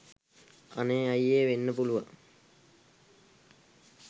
අනේ අය්යේ වෙන්න පුළුවන්.